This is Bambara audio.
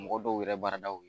Mɔgɔ dɔw yɛrɛ baaradaw ye